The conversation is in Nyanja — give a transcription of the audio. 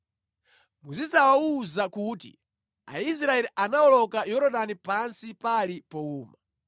Muzidzawawuza kuti, ‘Aisraeli anawoloka Yorodani pansi pali powuma.’